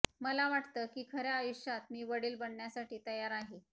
मला वाटतं की खऱ्या आयुष्यात मी वडील बनण्यासाठी तयार आहे